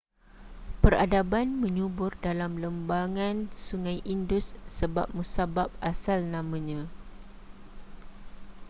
peradaban menyubur dalam lembangan sungai indus sebab musabab asal namanya